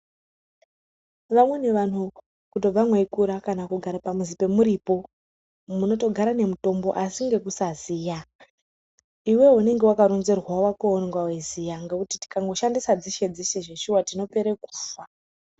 Vamweni vanhu kutobva mweikura kana kugara pamuzi pemuripo munotogara nemutombo asi nekusaziya, iwewe unenge wakaronzerwa wakowo waunonga weiziya ngekuti tikangoshandisa dzeshe dzeshe zveshuwa tinopere kufa.